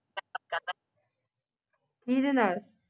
ਕੀ ਦੇ ਨਾਲ